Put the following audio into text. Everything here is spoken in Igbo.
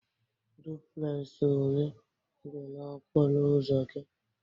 Duplex ole dị n'okporo ụzọ gị?